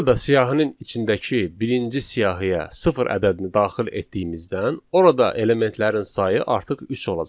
Burada siyahının içindəki birinci siyahıya sıfır ədədini daxil etdiyimizdən, orada elementlərin sayı artıq üç olacaq.